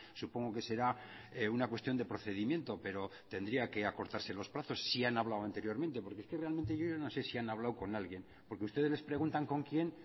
supongo que será una cuestión de procedimiento pero tendría que acortarse los plazos si han hablado anteriormente porque es que realmente yo no sé si han hablado con alguien porque ustedes les preguntan con quién